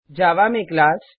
जावा में क्लास